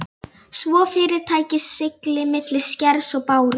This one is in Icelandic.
svo fyrirtækið sigli milli skers og báru.